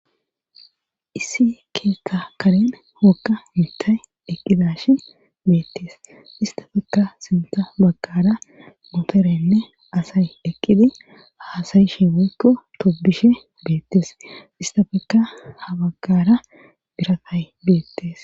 issi keetta karen wogga mitay eqqidashi beettes istafekka simita baggara moterenne asay eqqidi haasayishi moykko tobishe beettes istafekka ha baggara biratay beettes